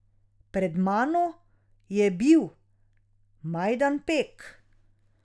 Pred mano je bil Majdanpek.